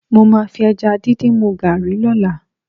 Mo máa fi ẹja díndín mu gààrí lọ́la